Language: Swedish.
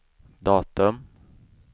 datum